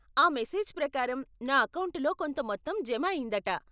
ఆ మెసేజ్ ప్రకారం నా అకౌంటులో కొంత మొత్తం జమ అయిందట.